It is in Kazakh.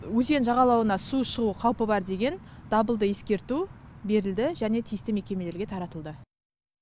өзен жағалауына су шығу қаупі бар деген дабылды ескерту берілді және тиісті мекемелерге таратылды